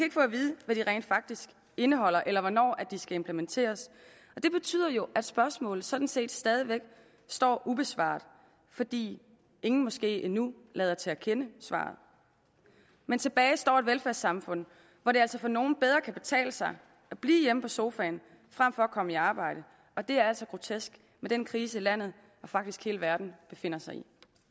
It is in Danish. hvad de rent faktisk indeholder eller hvornår de skal implementeres det betyder jo at spørgsmålet sådan set stadig væk står ubesvaret fordi ingen måske endnu lader til at kende svaret men tilbage står et velfærdssamfund hvor det altså for nogle bedre kan betale sig at blive hjemme på sofaen frem for at komme i arbejde og det er altså grotesk med den krise landet og faktisk hele verden befinder sig